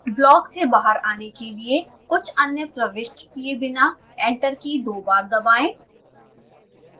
block से बाहर आने के लिए कुछ अन्य प्रविष्ट किए बिना एंटर की दो बार दबाएं